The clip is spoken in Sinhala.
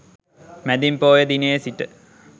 මැදින් පෝය දිනයේ සිට